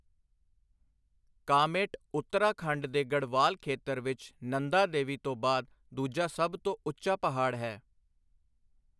ਕਾਮੇਟ ਉੱਤਰਾਖੰਡ ਦੇ ਗੜ੍ਹਵਾਲ ਖੇਤਰ ਵਿੱਚ ਨੰਦਾ ਦੇਵੀ ਤੋਂ ਬਾਅਦ ਦੂਜਾ ਸਭ ਤੋਂ ਉੱਚਾ ਪਹਾੜ ਹੈ।